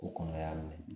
Ko kɔnɔ y'a minɛ